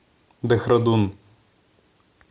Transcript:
дехрадун